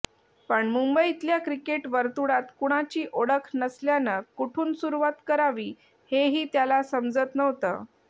पण मुंबईतल्या क्रिकेट वर्तुळात कुणाची ओळख नसल्यानं कुठून सुरूवात करावी हेही त्याला समजत नव्हतं